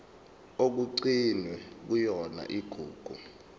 okugcinwe kuyona igugu